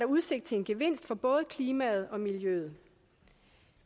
udsigt til en gevinst for både klimaet og miljøet